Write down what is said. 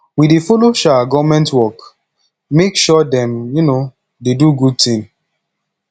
we dey folo um government work make sure dem um dey do good tin